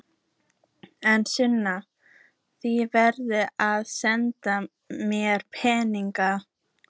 En Sunna, þú verður að senda mér peninga.